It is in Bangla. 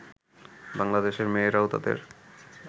বাংলাদেশের মেয়েরাও তাদের